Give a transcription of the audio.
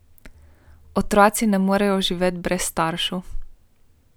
Otroci ne morejo živeti brez staršev.